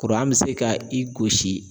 be se ka i gosi